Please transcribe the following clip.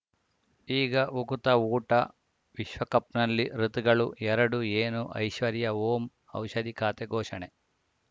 ಈಗ ಉಕುತ ಊಟ ವಿಶ್ವಕಪ್‌ನಲ್ಲಿ ಋತುಗಳು ಎರಡು ಏನು ಐಶ್ವರ್ಯಾ ಓಂ ಔಷಧಿ ಖಾತೆ ಘೋಷಣೆ